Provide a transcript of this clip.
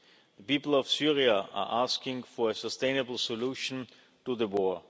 The people of Syria are asking for a sustainable solution to the